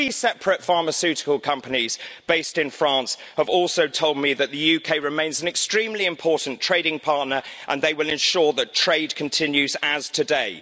Three separate pharmaceutical companies based in France have also told me that the UK remains an extremely important trading partner and they will ensure that trade continues as today.